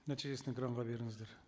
нәтижесін экранға беріңіздер